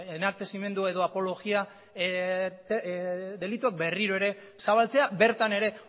enaltezimendu edo apologia delituak berriro ere zabaltzea bertan ere